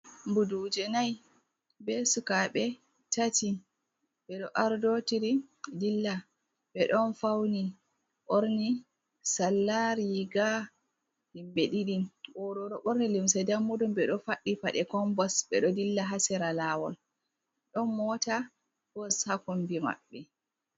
Ɓuduje nai, Ɓe suka ɓe tati ɓeɗo ardotiri dilla ɓe ɗon fauni ɓorni Sala riga himɓe ɗiɗi, O'ɗo ɗo ɓorni limse dammu ɗum ɓedo faɗɗi faɗe kombos ɓeɗo dilla hasera lawol ɗon mota bos hakombi maɓɓe.